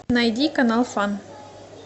найди канал фан